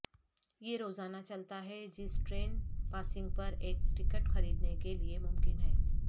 یہ روزانہ چلتا ہے جس ٹرین پاسنگ پر ایک ٹکٹ خریدنے کے لئے ممکن ہے